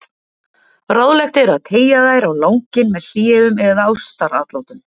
Ráðlegt er að teygja þær á langinn með hléum eða ástaratlotum.